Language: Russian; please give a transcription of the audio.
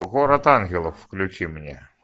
город ангелов включи мне